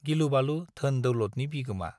गिलु-बालु धोन-दौलतनि बिगोमा।